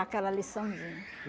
Aquela liçãozinha.